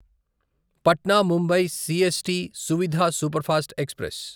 Patna Mumbai CST Suvidha superfast express